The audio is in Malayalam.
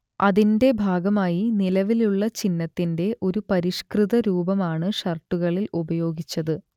അതിന്റെ ഭാഗമായി നിലവിലുള്ള ചിഹ്നത്തിന്റെ ഒരു പരിഷ്കൃത രൂപമാണ് ഷർട്ടുകളിൽ ഉപയോഗിച്ചത്